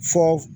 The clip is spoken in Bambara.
Fɔ